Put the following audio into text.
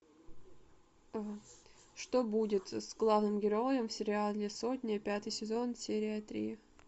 что будет с главным героем в сериале сотня пятый сезон серия три